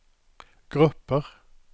grupper